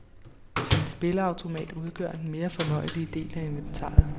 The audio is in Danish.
En spilleautomat udgør den mere fornøjelige del af inventaret.